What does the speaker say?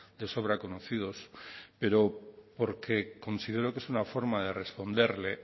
de sobra conocidos pero porque considero que es una forma de responderle